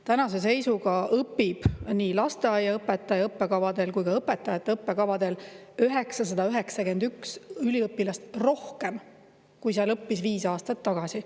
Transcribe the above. Tänase seisuga õpib nii lasteaiaõpetaja õppekavadel kui ka õpetajate õppekavadel 991 üliõpilast rohkem, kui seal õppis viis aastat tagasi.